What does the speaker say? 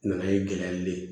Nana ye gɛlɛya be ye